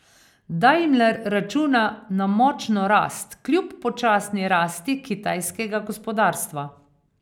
Daimler računa na močno rast kljub počasni rasti kitajskega gospodarstva.